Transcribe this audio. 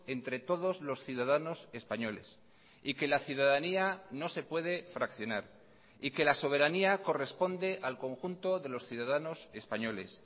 entre todos los ciudadanos españoles y que la ciudadanía no se puede fraccionar y que la soberanía corresponde al conjunto de los ciudadanos españoles